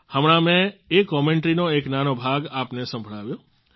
હમણાં મેં એ કોમેન્ટરીનો એક નાનો ભાગ આપને સંભળાવ્યો